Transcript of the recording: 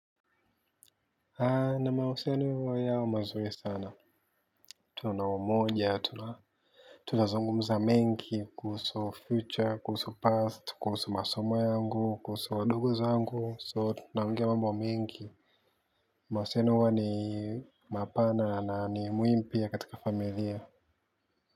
Na mahusiano huwa yao mazuri sana. Tuna umoja, tuna zungumuza mengi kuhusu future, kuhusu past, kuhusu masomo yangu, kuhusu wadogozangu, so tunaongea mambo mingi. Mausiano huwa ni mapana na ni muimu pia katika familia.